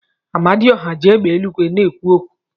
Amadioha ji égbè eluigwe na-ekwu okwu.